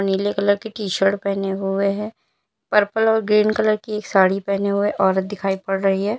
नीले कलर की टीशर्ट पहने हुए है पर्पल और ग्रीन कलर की साड़ी पहने हुए औरत दिखाई पड़ रही है।